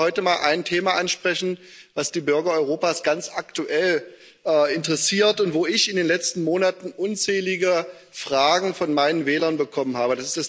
Ich möchte heute aber mal ein Thema ansprechen, das die Bürger Europas ganz aktuell interessiert und zu dem ich in den letzten Monaten unzählige Fragen von meinen Wählern bekommen habe.